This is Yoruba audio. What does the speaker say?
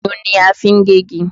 Ayùn ni a fi ń gé igi